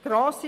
Grosse